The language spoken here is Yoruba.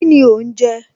Kíni òhún jẹ